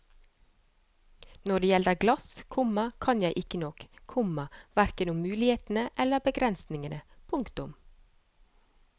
Når det gjelder glass, komma kan jeg ikke nok, komma hverken om mulighetene eller begrensningene. punktum